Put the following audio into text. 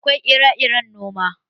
Akwai ire-iren noma.